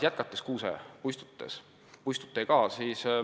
Jätkame kuusepuistutega.